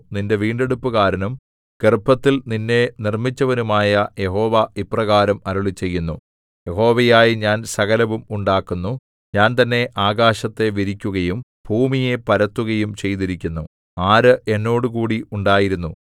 നിന്റെ വീണ്ടെടുപ്പുകാരനും ഗർഭത്തിൽ നിന്നെ നിർമ്മിച്ചവനുമായ യഹോവ ഇപ്രകാരം അരുളിച്ചെയ്യുന്നു യഹോവയായ ഞാൻ സകലവും ഉണ്ടാക്കുന്നു ഞാൻ തന്നെ ആകാശത്തെ വിരിക്കുകയും ഭൂമിയെ പരത്തുകയും ചെയ്തിരിക്കുന്നു ആര് എന്നോടുകൂടി ഉണ്ടായിരുന്നു